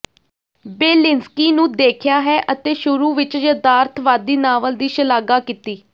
Belinsky ਨੂੰ ਦੇਖਿਆ ਹੈ ਅਤੇ ਸ਼ੁਰੂ ਵਿਚ ਯਥਾਰਥਵਾਦੀ ਨਾਵਲ ਦੀ ਸ਼ਲਾਘਾ ਕੀਤੀ